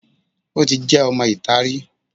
Ó ti jẹ́ ọmọ ìta rí